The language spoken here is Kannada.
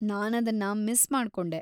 ನಾನದ್ನ ಮಿಸ್‌ ಮಾಡ್ಕೊಂಡೆ.